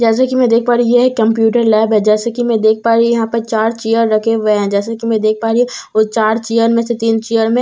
जैसे कि मैं देख पा रही हूं यह एक कंप्यूटर लैब है जैसे कि मैं देख पा रही हूं यहां पर चार चेयर रखे हुए है जैसे कि मैं देख पा रही हूं वो चार चेयर में से तीन चेयर में --